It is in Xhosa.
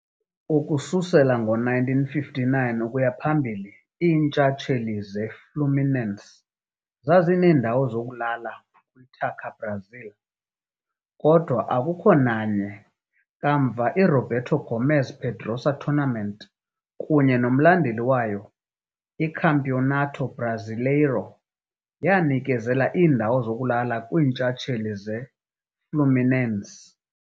Ukususela ngo-1959 ukuya phambili, iintshatsheli zeFluminense zazineendawo zokulala kwiTaça Brasil, kodwa akukho nanye kamva iRoberto Gomes Pedrosa tournament kunye nomlandeli wayo, iCampeonato Brasileiro, yanikezela iindawo zokulala kwiintshatsheli zeFluminense.